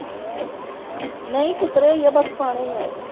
ਨਹੀਂ ਕੁਤਰੇ ਈਆ ਬਸ ਪਾਉਣੇ ਈ ਆ।